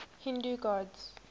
hindu gods